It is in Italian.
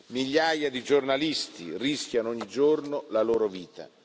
Migliaia di giornalisti rischiano ogni giorno la loro vita.